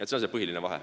See on see põhiline vahe.